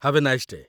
Have a nice day'.